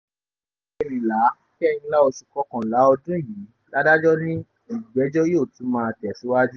ọjọ́ kẹrìnlá kẹrìnlá oṣù kọkànlá ọdún yìí ládàjọ́ ni ìgbẹ́jọ́ yóò tún máa tẹ̀síwájú